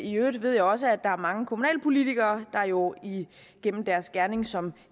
i øvrigt ved jeg også at der er mange kommunalpolitikere der jo igennem deres gerning som